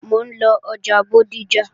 Mò ń lọ ọjà Bódìjà